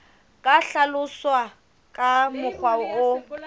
ka hlaloswa ka mokgwa o